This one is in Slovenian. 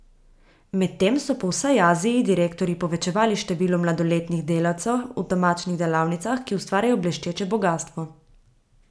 Medtem so po vsej Aziji direktorji povečevali število mladoletnih delavcev v temačnih delavnicah, ki ustvarjajo bleščeče bogastvo.